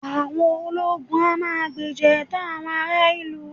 àwọn ologun a ma gbèjà ẹtọ awọn ará ilu